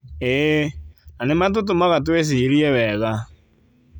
ĩĩ, na matũtũmaga twĩcirie wega